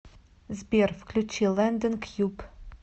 сбер включи лэндон кьюб